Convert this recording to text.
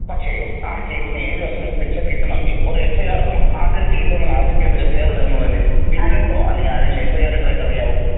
പക്ഷേ ആ കേസിന് ഏഴ് വർഷം വരെ ശിക്ഷ കിട്ടണമെങ്കിൽ ഒരു എഫ്ഐആർ ഇടണം ആദ്യൊരു കേസ് വരുമ്പോ ആദ്യം ചെയ്യേണ്ടത് ഒരു എഫ്ഐആർ ഇടുക എന്നുള്ളതല്ലേ വിജിലൻസോ അല്ലെങ്കിൽ ആരേലും എഫ്ഐആർ ഇട്ടതായിട്ട് അറിയാമോ.